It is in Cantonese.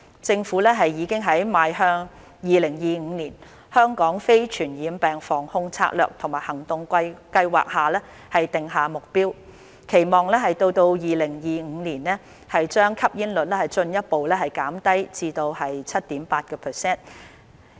政府已在《邁向 2025： 香港非傳染病防控策略及行動計劃》訂下目標，期望到2025年把吸煙率進一步減至 7.8%。